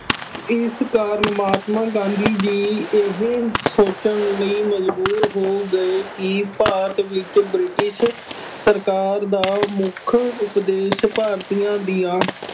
ਇਸ ਕਾਰਨ ਮਹਾਤਮਾ ਗਾਂਧੀ ਜੀ ਇਹ ਸੋਚਣ ਲਈ ਮਜ਼ਬੂਰ ਹੋ ਗਏ ਕਿ ਭਾਰਤ ਵਿੱਚ ਬ੍ਰਿਟਿਸ਼ ਸਰਕਾਰ ਦਾ ਮੁੱਖ ਉਪਦੇਸ਼ ਭਾਰਤੀਆ ਦੀਆਂ